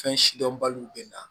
Fɛn si dɔn balo bɛ na